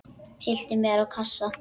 Tyllti mér á kassa.